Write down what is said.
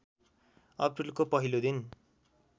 अप्रिलको पहिलो दिन